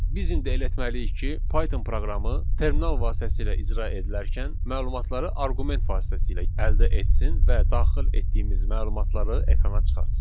Biz indi elə etməliyik ki, Python proqramı terminal vasitəsilə icra edilərkən məlumatları arqument vasitəsilə əldə etsin və daxil etdiyimiz məlumatları ekrana çıxartsın.